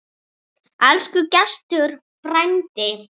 Elsku Gestur frændi.